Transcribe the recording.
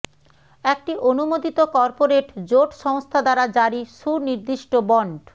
একটি অনুমোদিত কর্পোরেট জোট সংস্থা দ্বারা জারি সুনির্দিষ্ট বন্ড